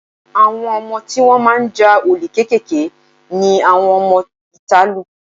Àwọn ọmọ tí wọ́n máa ń ja olè kéékèèké ni àwọn ọmọ ìta lù.